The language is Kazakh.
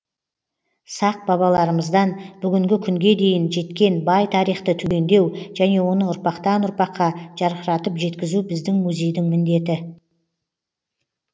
сақ бабаларымыздан бүгінгі күнге дейін жеткен бай тарихты түгендеу және оны ұрпақтан ұрпаққа жарқыратып жеткізу біздің музейдің міндеті